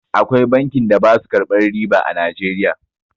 Akwai bankin da basu karɓan riba a Nijeriya